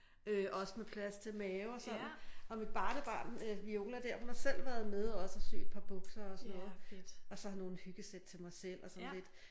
Øh også med plads til mave og sådan og mit barnebarn øh Viola der hun har selv været med også og sy et par bukser og sådan noget og så nogle hyggesæt til mig selv og sådan lidt